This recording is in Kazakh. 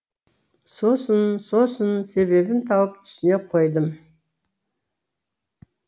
сосын сосын себебін тауып түсіне қойдым